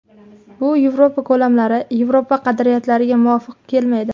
Bu Yevropa ko‘lamlari, Yevropa qadriyatlariga muvofiq kelmaydi”.